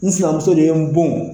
N sinamuso de ye n bon.